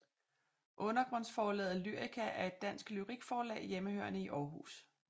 Undergrundsforlaget Lyrica er et dansk lyrikforlag hjemmehørende i Århus